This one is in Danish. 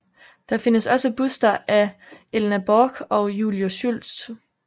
Der findes også buster af Elna Borch og Julius Schultz